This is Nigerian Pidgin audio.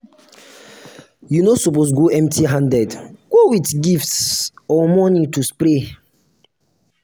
you no suppose go empty handed go with gift or money to spray